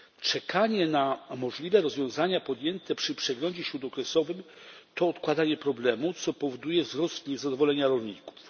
Czekanie na możliwe rozwiązania podjęte przy przeglądzie śródokresowym to odkładanie problemu, co powoduje wzrost niezadowolenia rolników.